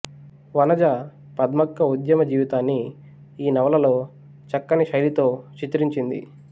వనజ పద్మక్క ఉద్యమ జీవితాన్ని ఈ నవలలో చక్కని శైలితో చిత్రించింది